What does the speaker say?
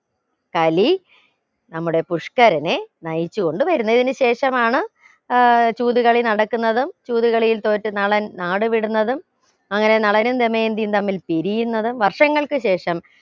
കലി നമ്മുടെ പുഷ്ക്കരനെ നയിച്ച് കൊണ്ടുവരുന്നെ ഇതിന് ശേഷമാണ് ഏർ ചൂത് കളി നടക്കുന്നതും ചൂത് കളിയിൽ തോറ്റ് നളൻ നാടുവിടുന്നതും അങ്ങനെ നളനും ദമയന്തിയും തമ്മിൽ പിരിയുന്നതും വർഷങ്ങൾക്കു ശേഷം